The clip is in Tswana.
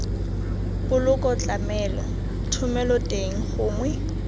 poloko tlamelo thomelo teng gongwe